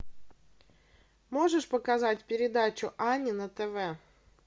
можешь показать передачу ани на тв